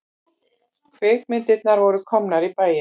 Kvikmyndirnar voru komnar í bæinn.